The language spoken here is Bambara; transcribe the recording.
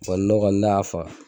ne kɔni n'a y'a faga